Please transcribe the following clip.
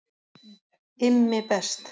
IMMI BEST